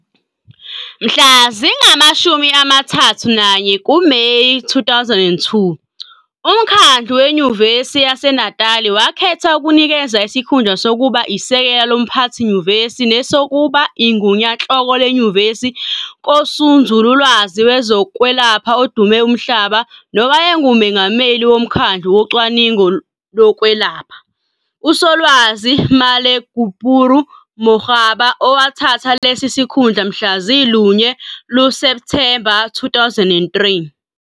Mhla zingamashumi amathathu nanye, 31, kuMeyi 2002, uMkhandlu weNyuvesi yaseNatali wakhetha ukunikeza isikhundla sokuba isekela loMphathinyuvesi nesokuba iGunyanhloko leNyuvesi kusonzululwazi wezokwelapha odume umhlaba nowayenguMengameli woMkhandlu woCwaningo lokweLapha - uSolwazi Malegapuru Makgoba, owathatha lesi sikhundla mhla zilunye, 1, luSepthemba 2002.